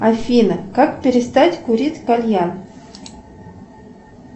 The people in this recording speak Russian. афина как перестать курить кальян